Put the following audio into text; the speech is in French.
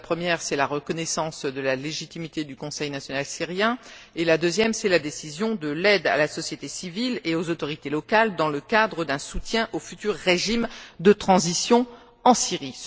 Le premier tient à la reconnaissance de la légitimité du Conseil national syrien et le deuxième à la décision d'accorder une aide à la société civile et aux autorités locales dans le cadre d'un soutien au futur régime de transition en Syrie.